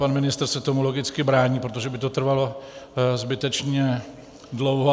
Pan ministr se tomu logicky brání, protože by to trvalo zbytečně dlouho.